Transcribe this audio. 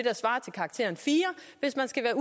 karakteren fjerde hvis man skal være